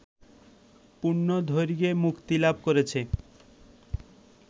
পূর্ণ দৈর্ঘ্যে মুক্তিলাভ করেছে